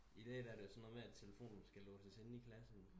I dag er det jo sådan noget med at telefonen skal låses inde i klassen